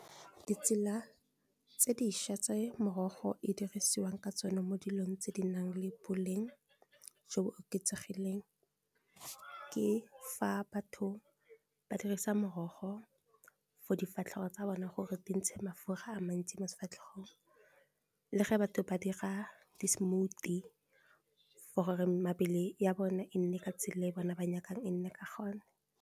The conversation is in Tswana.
Ditsela tse dišwa tse morogo e dirisiwang ka tsone mo dilong tse di nang le boleng jo bo oketsegileng ke fa batho ba dirisa morogo for difatlhego tsa bone gore di ntshe mafura a mantsi mofatlhegong le ge batho ba dira di smoothie for gore mebele ya bone e nne ka tsela ya bona ba nyakang e nne ka gone.